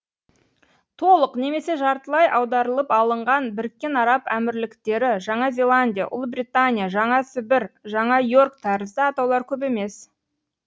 толық немесе жартылай аударылып алынған біріккен араб әмірліктері жаңа зеландия ұлыбритания жаңасібір жаңа и орк тәрізді атаулар көп емес